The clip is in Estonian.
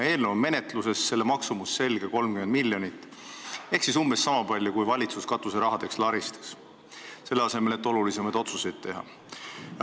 Eelnõu on menetluses ja selle maksumus on selge – 30 miljonit ehk umbes sama palju, kui valitsus katuserahadeks laristas, selle asemel et olulisemaid otsuseid teha.